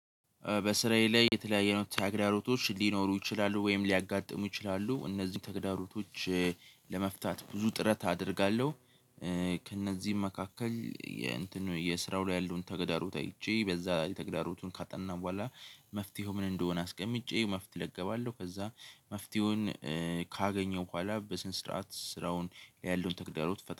በስራዬ ላይ የተለያየ አይነት ተግዳሮቶች ሊኖሩ ይችላሉ ወይም ሊያጋጥሙ ይችላሉ እነዚህን ተግዳሮቶች ለመፍታት ብዙ ጥረት አደርጋለሁ። ከእነዚህም መካከል የእንትን የስራው ላይ ያለውን ተገዳሮት አይቼ በዛ የተገዳሮቱን ካጠናሁ በኋላ መፍትሄው ምን እንደሆነ አስቀምጬ መፍትሄው እለቀባለሁ ከዛ መፍትሄውን ካገኘው በኋላ በስነ ስርዓት ስራውን ያለውን ተግዳሮት።